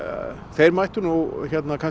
þeir mættu nú